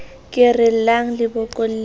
ke re llang le bokolleng